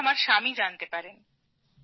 সেখানে আমার স্বামী জানতে পারেন